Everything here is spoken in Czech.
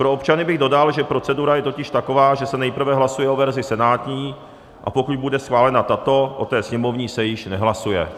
Pro občany bych dodal, že procedura je totiž taková, že se nejprve hlasuje o verzi senátní, a pokud bude schválena tato, o té sněmovní se již nehlasuje.